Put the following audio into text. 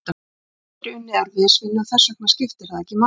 Ég hef aldrei unnið erfiðisvinnu, og þess vegna skiptir það ekki máli.